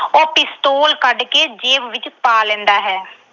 ਉਹ pistol ਕੱਢ ਕੇ ਜੇਬ ਵਿੱਚ ਪਾ ਲੈਂਦਾ ਹੈ।